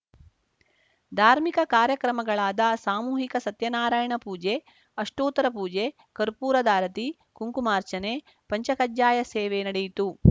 ಧಾರ್ಮಿಕ ಕಾರ್ಯಕ್ರಮಗಳಾದ ಸಾಮೂಹಿಕ ಸತ್ಯನಾರಾಯಣ ಪೂಜೆ ಅಷ್ಠೋತ್ತರ ಪೂಜೆ ಕರ್ಪೂರಧಾರತಿ ಕುಂಕುಮಾರ್ಚನೆಪಂಚ ಕಜ್ಜಾಯ ಸೇವೆ ನಡೆಯಿತು